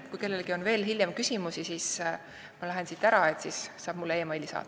Kui kellelgi on küsimusi veel hiljem, kui ma lähen siit puldist ära, siis saab mulle e-maili saata.